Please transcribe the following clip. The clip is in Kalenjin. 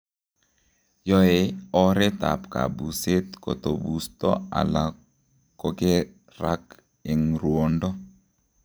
Yoe oreet ab kabuseet kotobusto ala kokerak eng ruondo